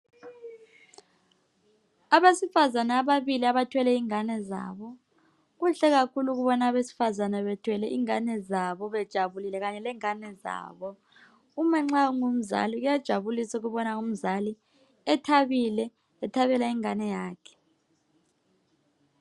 Abesifazane ababili abathwele ingane zabo kuhle kakhulu ukubona abesifazane bethwele ingane zabo bejabulile kanye lengane zabo. Uma nxa ungumzali kuyajabulisa ukubona umzali ethabile ethabela ingane yakhe.